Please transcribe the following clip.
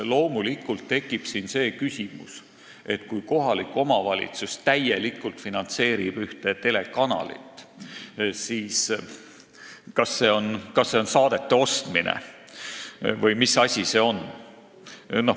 Loomulikult tekib siin see küsimus, kas see, kui kohalik omavalitsus täielikult finantseerib ühte telekanalit, on saadete ostmine või mis asi see on.